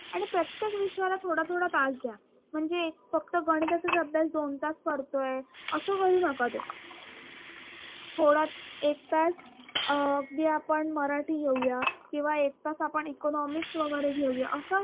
थोडा थोडा तास द्या म्हणजे फक्त गणिताचाच अभ्यास दोन तास करतोय अस करू नका थोडा एक तास अं अगदी आपण मराठी घेऊया किंवा एक तास आपण economics वगैरे घेऊया असं